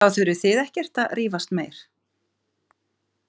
Þá þurfið þið ekkert að rífast meir.